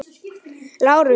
LÁRUS: Ég kem.